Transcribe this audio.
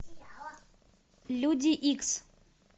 люди икс